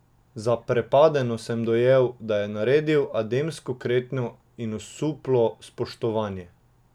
Zaprepadeno sem dojel, da je naredil ademsko kretnjo za osuplo spoštovanje.